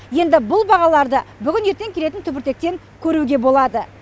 енді бұл бағаларды бүгін ертең келетін түбіртектен көруге болады